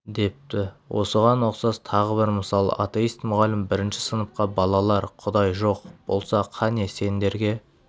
депті осыған ұқсас тағы бір мысал атеист мұғалім бірінші сыныпқа балалар құдай жоқ болса қане сендерге